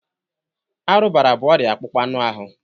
Arụbara bụ ọrịa akpụkpọ anụ ahụ.